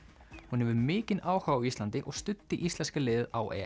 hún hefur mikinn áhuga á Íslandi og studdi íslenska liðið á